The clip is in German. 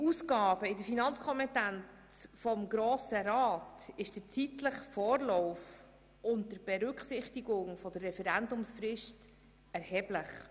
Bei Ausgaben in der Finanzkompetenz des Grossen Rats ist der zeitliche Vorlauf unter Berücksichtigung der Referendumsfrist erheblich.